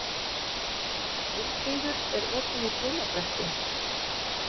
Vilfríður, er opið í Blómabrekku?